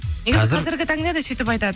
негізі қазіргі таңда да сөйтіп айтады